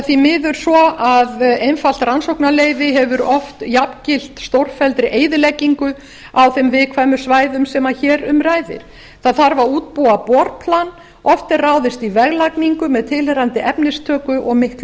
því miður svo að einfalt rannsóknarleyfi hefur oft jafngilt stórfelldri eyðileggingu á þeim viðkvæmu svæðum sem hér um ræðir það þarf að útbúa borplan oft er ráðist í veglagningu með tilheyrandi efnistöku og miklu